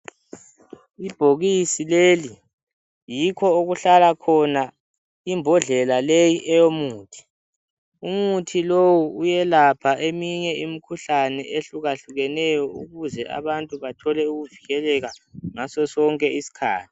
Ibhokisi leli, yikho okuhlala khona imbodlela leyi eyomuthi. Umuthi lowu uyelapha eminye imikhuhlane ehlukahlukeneyo ukuze abantu bathole ukuvikeleka ngasosonke isikhathi.